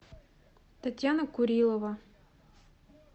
татьяна курилова